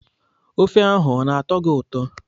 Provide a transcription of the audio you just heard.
Ofe ahụ ọ na-atọ gị ụtọ?